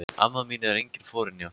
Hún amma mín er engin forynja.